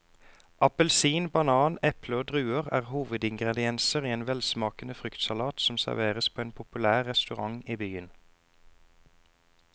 Appelsin, banan, eple og druer er hovedingredienser i en velsmakende fruktsalat som serveres på en populær restaurant i byen.